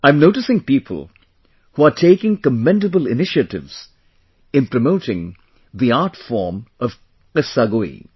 I am noticing people who are taking commendable initiatives in promoting the art form of Qissagoi